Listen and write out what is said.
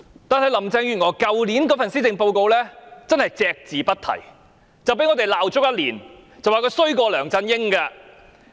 但是，林鄭月娥去年的施政報告隻字不提，因此被我們罵足一年，說她比梁振英更差。